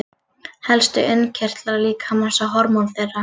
Helstu innkirtlar líkamans og hormón þeirra.